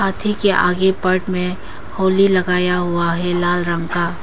हाथी के आगे पट में होली लगाया हुआ है लाल रंग का।